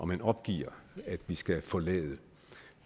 man opgiver at vi skal forlade